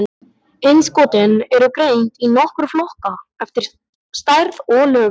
Innskotin eru greind í nokkra flokka eftir stærð og lögun.